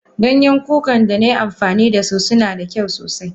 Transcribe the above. Ganyen kukan danai amfani dasu suna da kyau sosai.